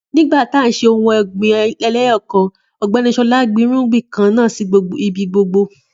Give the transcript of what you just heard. Nígbà tí a ń ṣe ohun ọ̀gbìn eléyọkan Ọ̀gbẹ́ni Sọlá gbin irúgbìn kan náà sì ibi gbogbo